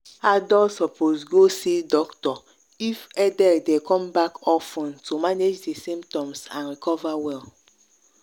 adult suppose go see doctor if headache dey come back of ten to manage di symptoms and recover well.